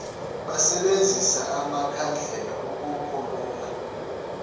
basebenzise amakhandlela ukukhulula